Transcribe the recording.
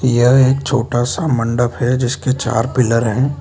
यह एक छोटा सा मंडप है जिसके चार पिलर हैं।